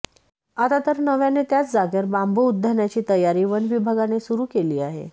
आता तर नव्याने त्याच जागेवर बांबू उद्यानाची तयारी वनविभागाने सुरु केली आहे